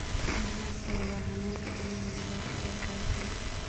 Maxaa sababa xanuunka xanuunka gobolka ee kakan?